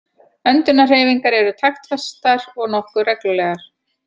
Öndunarhreyfingar eru taktfastar og nokkuð reglulegar.